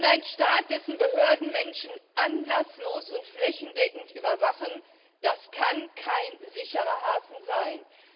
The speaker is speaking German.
Ein Staat, dessen Behörden Menschen anlasslos und flächendeckend überwachen, kann kein sicherer Hafen sein.